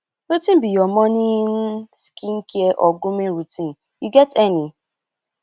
wetin be your morning skincare or grooming routine you get any